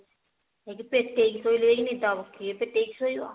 ଯାଉଛି ପେଟେଇକି ଶୋଇଲେ ଯାଇ ନିଦ ହେବ କିଏ ପେଟେଇକି ଶୋଇବ